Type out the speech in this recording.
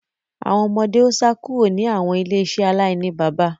Awọn ọmọde o sá kúrò ni awọn ile-iṣẹ alainibaba